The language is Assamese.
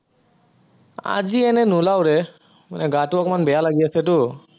আজি এনেই নোলাও ৰে, মানে গাটো অকনমান বেয়া লাগি আছে তো